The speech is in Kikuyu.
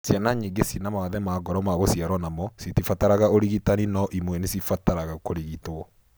Ciana nyingĩ cina mawathe ma ngoro ma gũciaro namo citibataraga ũrigitani no imwe nĩ cibataraga kũrigitwo.